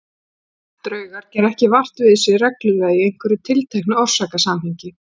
Draugar gera ekki vart við sig reglulega í einhverju tilteknu orsakasamhengi.